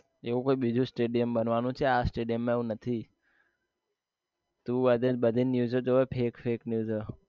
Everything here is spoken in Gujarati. એવું કોઈ બીજું stadium બનવાનું છે આ stadium માં એવું નથી તું બધી news ઓ જોવે fake fake news ઓં